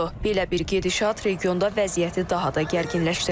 Belə bir gedişat regionda vəziyyəti daha da gərginləşdirə bilər.